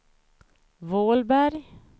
Vålberg